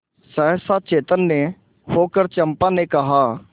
सहसा चैतन्य होकर चंपा ने कहा